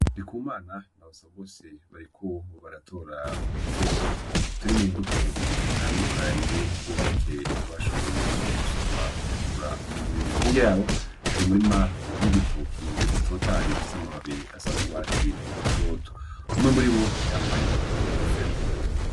Ndikumana na Basabose bariko baratora udukoko turi mu mbuto zitandukanye n'impeke bashoboye gusoroma bagakura mu mirima, hirya yaho hari umurima w'ibitoki bitotahaye bifise amababi asa n'urwatsi rutoto umwe muribo yambaye inkofero.